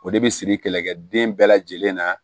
O de bi siri kɛlɛkɛ den bɛɛ lajɛlen na